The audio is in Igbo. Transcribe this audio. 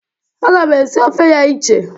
Aga m esi ofe ya iche.